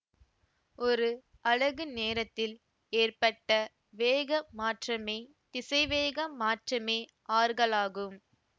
ஒரு அலகு நேரத்தில் ஏற்பட்ட வேக மாற்றமே திசைவேக மாற்றமே ஆர்கலாகும்